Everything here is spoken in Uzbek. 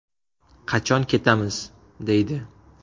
Qachon ketamiz?”, deydi.